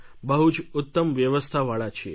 બહુ જ ઉત્તમ વ્યવસ્થાવાળા છીએ